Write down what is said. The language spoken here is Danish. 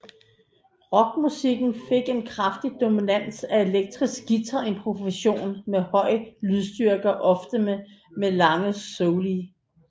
Rockmusikken fik en kraftig dominans af elektriske guitarimprovisationer med høj lydstyrke og ofte med lange soli